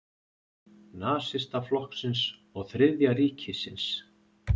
Nasistaflokksins og Þriðja ríkisins.